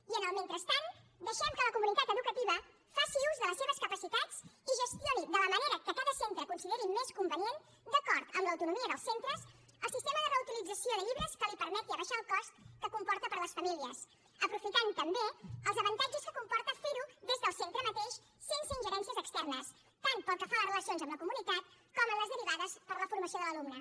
i en el mentrestant deixem que la comunitat educativa faci ús de les seves capacitats i gestioni de la manera que cada centre consideri més convenient d’acord amb l’autonomia dels centres el sistema de reutilització de llibres que li permeti abaixar el cost que comporta per a les famílies aprofitant també els avantatges que comporta fer ho des del centre mateix sense ingerències externes tant pel que fa a les relacions amb la comunitat com en les derivades per la formació de l’alumne